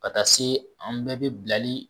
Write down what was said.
Ka taa se an bɛɛ bɛ bilali